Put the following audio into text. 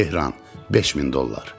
Tehran, 5000 dollar.